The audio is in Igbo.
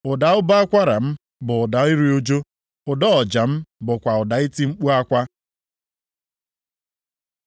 Ụda ụbọ akwara m bụ ụda iru ụjụ; ụda ọja m bụkwa ụda iti mkpu akwa.